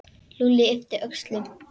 Lúlli yppti öxlum.